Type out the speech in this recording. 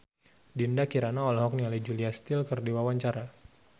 Dinda Kirana olohok ningali Julia Stiles keur diwawancara